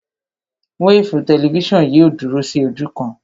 Wéèfù tẹlifísàn yìí ò dúró sí ojú kan